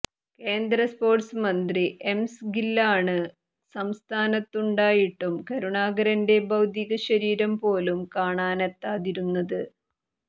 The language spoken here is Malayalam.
കേന്ദ്ര സ്പോര്ട്സ് മന്ത്രി എം സ് ഗില്ലാണ് സംസ്ഥാനത്തുണ്ടായിട്ടും കരുണാകരന്റെ ഭൌതികശരീരം പോലും കാണാനെത്താതിരുന്നത്